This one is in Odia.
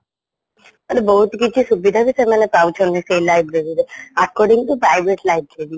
ଆହୁରି ବହୁତ କିଛି ସୁବିଧା ବି ସେମାନେ ପାଉଛନ୍ତି ସେଇ library ରେ according to private library